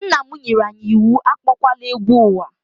Nnam nyere anyị iwu akpowala egwu ụwa.